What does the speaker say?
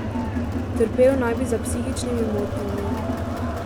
Trpel naj bi za psihičnimi motnjami.